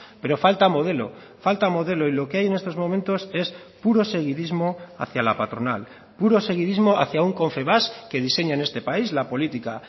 pero falta modelo falta modelo y lo que hay en estos momentos es puro seguidismo hacia la patronal puro seguidismo hacia un confebask que diseña en este país la política